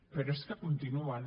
però és que continuen